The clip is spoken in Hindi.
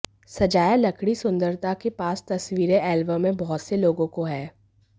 सजाया लकड़ी सुंदरता के पास तस्वीरें एल्बम में बहुत से लोगों को है